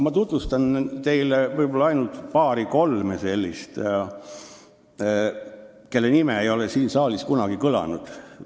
Ma tutvustan teile ainult paari-kolme sellist, kelle nime ei ole siin saalis kunagi kõlanud.